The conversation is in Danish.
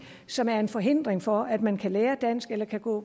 som er en forhindring for at man kan lære dansk eller gå